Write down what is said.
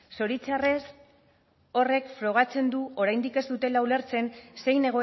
zoritxarrez horrek frogatzen du oraindik ez dutela ulertzen zein